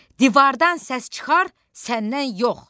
“Divardan səs çıxar, səndən yox!”